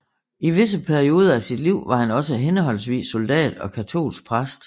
I visse perioder af sit liv var han også henholdsvis soldat og katolsk præst